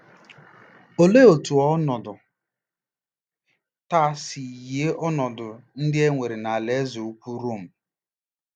Olee otú ọnọdụ taa si yie ọnọdụ ndị e nwere n'Alaeze Ukwu Rom?